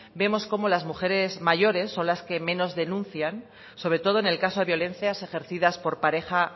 vemos cómo las mujeres mayores son las que menos denuncian sobre todo en el caso de violencias ejercidas por pareja